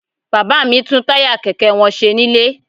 Bàbá mi ń tún táyà kẹ̀kẹ́ wọn ṣe nílé